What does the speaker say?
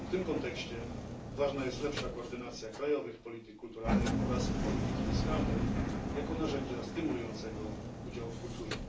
W tym kontekście ważna jest lepsza koordynacja krajowych polityk kulturalnych oraz polityki fiskalnej jako narzędzia stymulującego udział w kulturze.